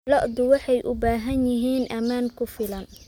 Lo'du waxay u baahan yihiin ammaan ku filan.